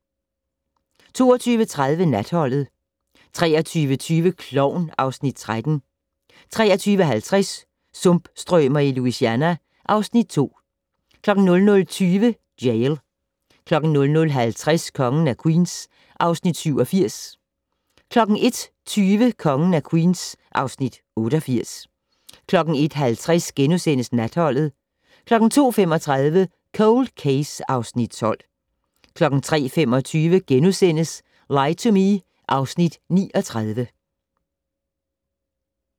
22:30: Natholdet 23:20: Klovn (Afs. 13) 23:50: Sumpstrømer i Louisiana (Afs. 2) 00:20: Jail 00:50: Kongen af Queens (Afs. 87) 01:20: Kongen af Queens (Afs. 88) 01:50: Natholdet * 02:35: Cold Case (Afs. 12) 03:25: Lie to Me (Afs. 39)*